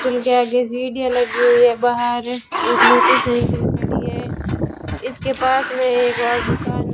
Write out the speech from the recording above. hotel के आगे सीढ़ियाँ लगी हुई हैं बाहर एक मोटर सायकल खड़ी है इसके पास मैं एक और दुकान --